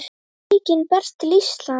Veikin berst til Íslands